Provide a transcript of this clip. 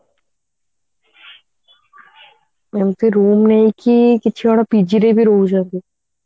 ଏମିତି ରୁମ ନେଇକି କିଛି ଜଣ PG ରେ ଭି ରହୁଛନ୍ତି